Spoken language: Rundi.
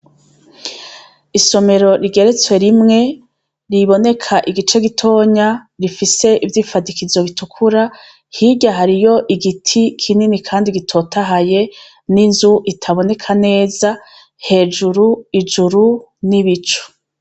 Isomero rigeretse rimwe riboneka igice gitonya gifise ivyifadikizo bitukura hirya hariyo igiti kinini kandi gitotahaye ninzu itaboneka neza hejuru ijuru nibicu.